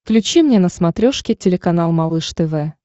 включи мне на смотрешке телеканал малыш тв